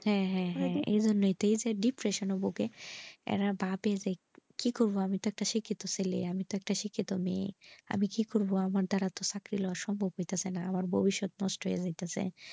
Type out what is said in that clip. হ্যাঁ হ্যাঁ হ্যাঁ এইটা depression এ ভোগে এই না ভাবি যে কি করবো আমি একটা শিক্ষিত ছেলে আমি তো একটা শিক্ষিত মেয়ে আমি কি করবো আমার দাঁড় সাকিলা তো সম্ভব হইতাছে না আমার ভবিষ্যৎ নষ্ট হইতাছে,